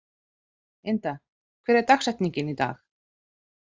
Inda, hver er dagsetningin í dag?